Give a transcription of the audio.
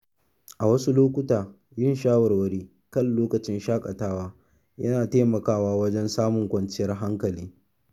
A wasu lokuta, yin shawarwari kan lokacin shaƙatawa yana taimakawa wajen samun kwanciyar hankali.